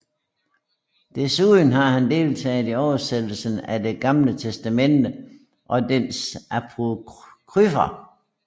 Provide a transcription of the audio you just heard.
Desuden har han deltaget i oversættelsen af det Gamle Testamente og dets apokryfer